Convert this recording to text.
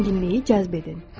Zənginliyi cəzb edin.